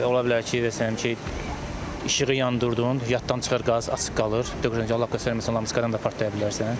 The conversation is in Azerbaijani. Ola bilər ki, deyirəm ki, işığı yandırdın, yaddan çıxır qaz açıq qalır, deyirəm ki, lampadan da partlaya bilərsən.